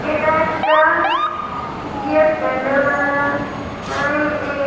এইটা একটা বিয়ের প্যান্ডেল মনে হয় হয় এ--